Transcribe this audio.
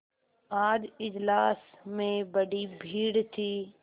आज इजलास में बड़ी भीड़ थी